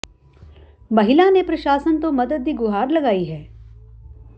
ਮਹਿਲਾ ਨੇ ਪ੍ਰਸ਼ਾਸਨ ਤੋਂ ਮਦਦ ਦੀ ਗੁਹਾਰ ਲਗਾਈ ਹੈ